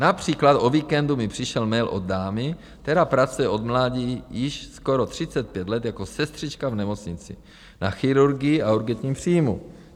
Například o víkendu mi přišel mail od dámy, která pracuje od mládí již skoro 35 let jako sestřička v nemocnici na chirurgii a urgentním příjmu.